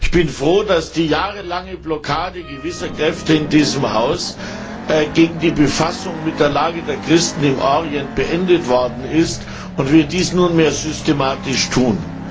Ich bin froh, dass die jahrelange Blockade gewisser Kräfte in diesem Haus gegen die Befassung mit der Lage der Christen im Orient beendet worden ist, und wir dies nunmehr systematisch tun.